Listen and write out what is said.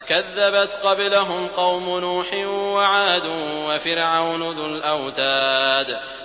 كَذَّبَتْ قَبْلَهُمْ قَوْمُ نُوحٍ وَعَادٌ وَفِرْعَوْنُ ذُو الْأَوْتَادِ